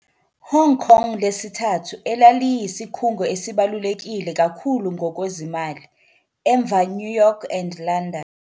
Hong Kong lesithathu elaliyisikhungo esibalulekile kakhulu ngokwezimali emva New York and London.